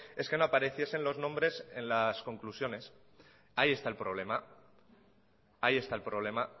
es que no apareciesen los nombre en las conclusiones ahí está el problema